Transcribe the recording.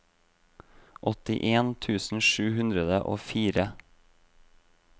åttien tusen sju hundre og fire